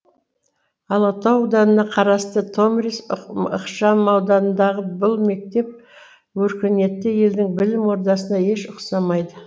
алатау ауданына қарасты томирис ықшамауданындағы бұл мектеп өркениетті елдің білім ордасына еш ұқсамайды